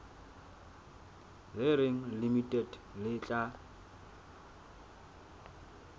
le reng limited le tla